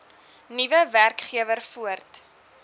nuwe werkgewer voort